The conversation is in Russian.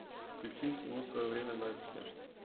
включи всему свое время настя